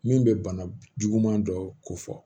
Min bɛ bana juguman dɔ ko fɔ